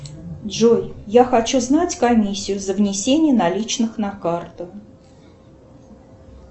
джой я хочу знать комиссию за внесение наличных на карту